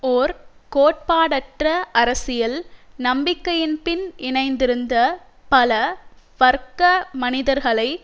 ஓர் கோட்பாடற்ற அரசியல் நம்பிக்கையின் பின் இணைந்திருந்த பல வர்க்க மனிதர்களை